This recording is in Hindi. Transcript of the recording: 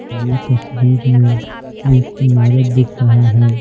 यह तस्वीर में एक इमारत दिख रहा है।